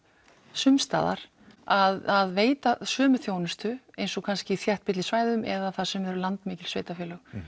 sums staðar að veita sömu þjónustu eins og kannski í þéttbýlissvæðum eða þar sem eru landmikil sveitarfélög